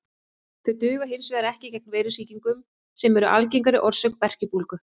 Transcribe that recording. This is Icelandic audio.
Þau duga hins vegar ekki gegn veirusýkingum sem eru algengari orsök berkjubólgu.